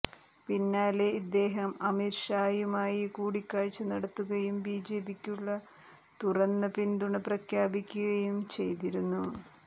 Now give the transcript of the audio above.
പിന്നാലെ ഇദ്ദേഹം അമിത് ഷായുമായി കൂടിക്കാഴ്ച നടത്തുകയും ബിജെപിക്കുള്ള തുറന്ന പിന്തുണ പ്രഖ്യാപിക്കുകയും ചെയ്തിരുന്നു